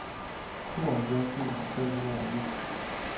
tooghalvfjerds tusind fem hundrede og ni